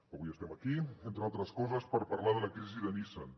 avui estem aquí entre altres coses per parlar de la crisi de nissan